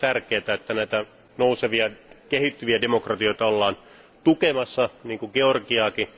On tietenkin tärkeää, että näitä nousevia, kehittyviä demokratioita ollaan tukemassa, niin kuin Georgiaakin.